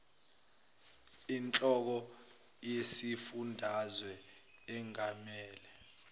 inhloko yesifundazwe engamele